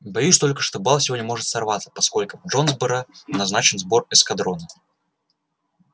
боюсь только что бал сегодня может сорваться поскольку в джонсборо назначен сбор эскадрона